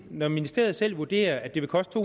når ministeriet selv vurderer at det vil koste